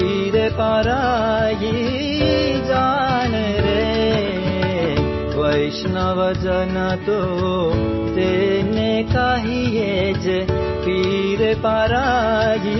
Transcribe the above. song